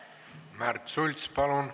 Märt Sults, palun!